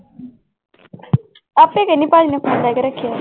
ਆਪੇ ਕਹਿੰਦੀ ਭਾਈ ਨੇ phone ਲੈ ਕੇ ਰੱਖਿਆ।